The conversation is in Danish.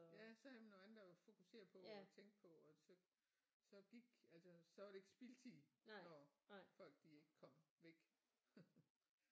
Ja så havde man noget andet at fokusere på og tænke på og så så gik altså så var det ikke spildtid når folk de ikke kom væk